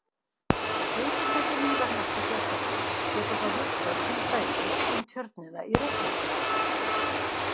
Þeir sem þekkja Mývatn ekki sérstaklega geta þá hugsað til dæmis um Tjörnina í Reykjavík.